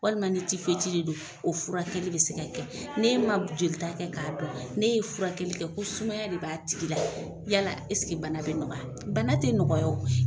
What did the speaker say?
Walima ni de don o furakɛli bɛ se ka kɛ, ne ma jolita kɛ k'a dɔn, ne ye furakɛli kɛ ko sumaya de b'a tigi la, yala ɛseke bana bɛ nɔgɔya? Bana tɛ nɔgɔya o.